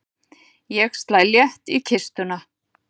Ég slæ létt í kistuna.